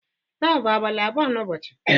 taa ọ bụ abalị abụọ n'ụbọchị?